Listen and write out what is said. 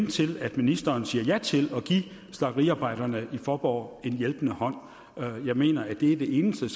til at ministeren siger ja til at give slagteriarbejderne i faaborg en hjælpende hånd jeg mener at det er det eneste